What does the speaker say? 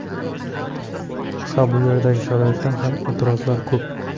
Ha, bu yerdagi sharoitdan ham e’tirozlar ko‘p.